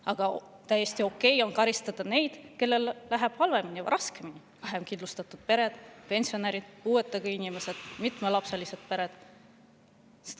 Aga täiesti okei on karistada neid, kellel läheb halvemini ja raskemini: vähekindlustatud pered, pensionärid, puuetega inimesed, mitme lapsega pered.